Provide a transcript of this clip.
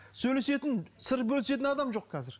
сөйлесетін сыр бөлісетін адам жоқ қазір